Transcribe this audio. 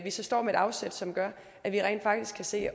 står med et afsæt som gør at vi rent faktisk kan se